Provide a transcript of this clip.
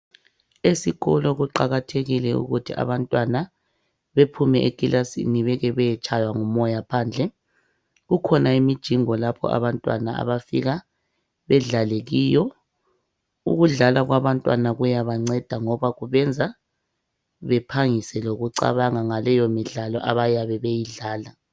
Esikolo kuqakathekile ukuthi abantwana bephume ekilasini beke beyetshaywa ngumoya phandle. Kukhona imijingo lapho abantwana abafika bedlale kiyo. Ukudlala kwabantwana kuyabanceda ngoba kubenza bephangise lokucabanga ngaleyo midlalo abayabe beyidlala.